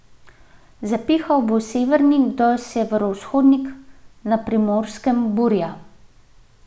Zapihal bo severnik do severovzhodnik, na Primorskem burja.